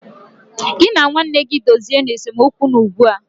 Gị na nwanne gị dozie nu esemokwu unu ugbu a